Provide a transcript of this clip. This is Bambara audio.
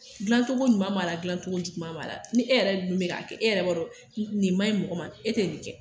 Dilacogo ɲuman b'a la dilacogo juguman b'a la ni e yɛrɛ dun bɛ k'a kɛ e yɛrɛ b'a dɔn nin man ɲi mɔgɔ ma e tɛ nin kɛ